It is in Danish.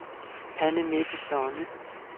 Anne-Mette Sonne